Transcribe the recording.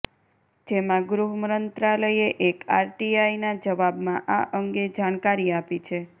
જેમા ગૃહ મંત્રાલયે એક આરટીઆઈના જવાબમા આ અંગે જાણકારી આપી છે